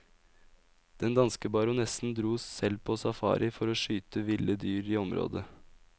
Den danske baronessen dro selv på safari for å skyte ville dyr i området.